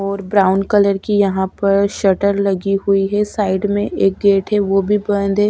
और brown colour की यहां पर शटर लगी हुई है साइड में एक गेट है वो भी बंद है।